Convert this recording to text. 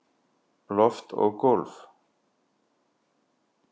Loft og gólf